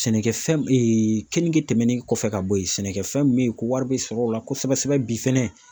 Sɛnɛkɛfɛn keninge tɛmɛnen kɔfɛ ka bɔ ye sɛnɛkɛfɛn min bɛ ye ko wari bɛ sɔrɔ o la kosɛbɛ sɛbɛ bi fɛnɛ